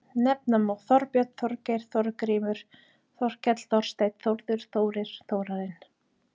Nefna má Þorbjörn, Þorgeir, Þorgrímur, Þorkell, Þorsteinn, Þórður, Þórir, Þórarinn.